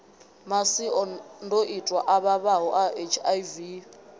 masiandoitwa a vhavhaho a hiv